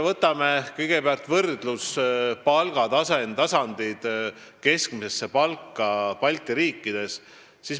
Võtame kõigepealt võrdluse: palgatase võrreldes keskmise palgaga Balti riikides.